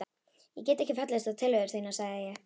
Ég get ekki fallist á tillögur þínar sagði ég.